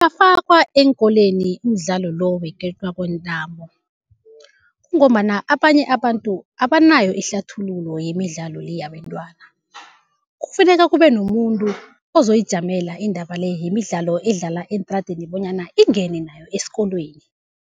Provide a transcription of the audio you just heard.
Ungafakwa eenkolweni umdlalo lo kwentambo, kungombana abanye abantu abanayo ihlathululo yemidlalo le yabentwana. Kufuneka kube nomuntu ozoyijamela indaba le yemidlalo edlalwa eentradeni, bonyana ingene nayo esikolweni.